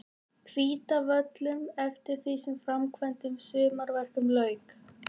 Hvítárvöllum eftir því sem framkvæmdum og sumarverkum lauk.